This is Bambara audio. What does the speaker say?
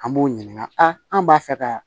An b'o ɲininka an b'a fɛ ka